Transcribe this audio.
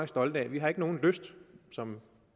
stolte af vi har ikke nogen lyst til som